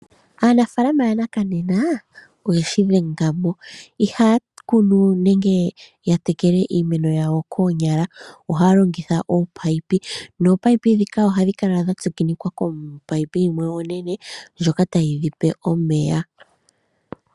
Aanafaalama yanakanena oyeli yeshi dhenga mo, ihaya kunu we nenge yatekele iimeno yawo koonyala ohaya longitha oopayipi, noopayipi dhika ohadhi kala dha tsikinikwa kopayipi yimwe onene ndjoka ta yi yipe omeya.